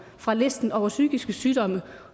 fra listen over psykiske sygdomme